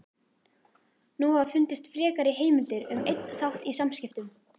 Nú hafa fundist frekari heimildir um einn þátt í samskiptum